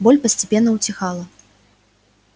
боль постепенно утихала